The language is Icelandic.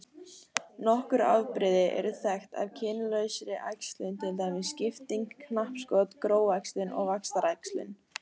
Nokkur afbrigði eru þekkt af kynlausri æxlun til dæmis skipting, knappskot, gróæxlun og vaxtaræxlun.